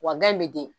Wa gɛn bɛ den